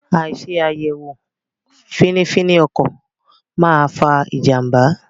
Àìṣe àyẹ̀wò fínífíní ọkọ̀ máa fa ìjànbá.